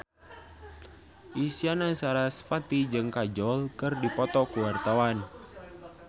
Isyana Sarasvati jeung Kajol keur dipoto ku wartawan